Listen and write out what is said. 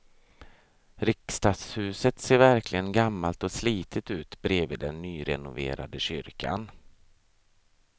Riksdagshuset ser verkligen gammalt och slitet ut bredvid den nyrenoverade kyrkan.